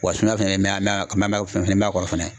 Wa suna fɛnɛ a a k ma mɛ finfin b'a kɔrɔ fɛnɛ